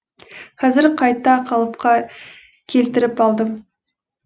қазір қайта қалыпқа келтіріп алдым